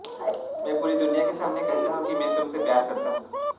मैं पूरी दुनिया के सामने कहता हूं कि मैं तुमसे प्यार करता हूं